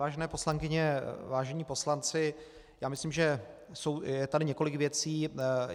Vážené poslankyně, vážení poslanci, já myslím, že je tady několik věcí.